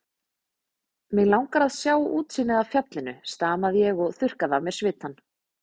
Mig langar til að sjá útsýnið af fjallinu stamaði ég og þurrkaði af mér svitann.